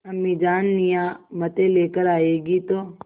अम्मीजान नियामतें लेकर आएँगी तो